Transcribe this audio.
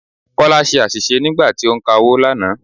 Kọ́lá ṣe àṣìṣe nígbà tí ó ń ka owó lánàá.